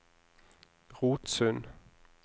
Rotsund